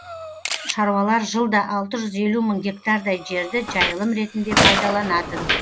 шаруалар жылда алты жүз елу мың гектардай жерді жайылым ретінде пайдаланатын